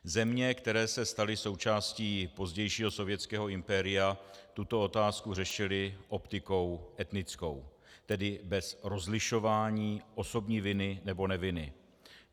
Země, které se staly součástí pozdějšího sovětského impéria, tuto otázku řešily optikou etnickou, tedy bez rozlišování osobní viny nebo neviny.